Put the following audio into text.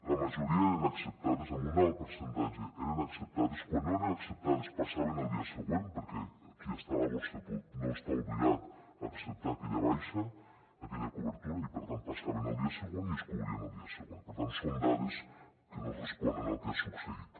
la majoria eren acceptades en un alt percentatge eren acceptades quan no eren acceptades passaven al dia següent perquè qui està a la borsa no està obligat a acceptar aquella baixa aquella cobertura i per tant passaven al dia següent i es cobrien al dia següent per tant són dades que no responen al que ha succeït